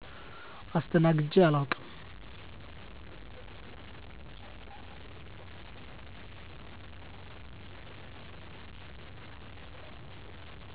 አስተናግጀ አላውቅም